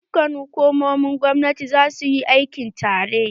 Dukkan hukumomin gwamnati za su yi aiki tare!